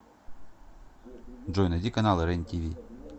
джой найди каналы рен тиви